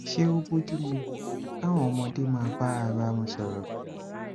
ṣé ó bọju mu káwọn ọmọdé máa bá ara wọn sọrọ